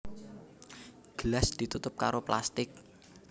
Gelas ditutup karo plastik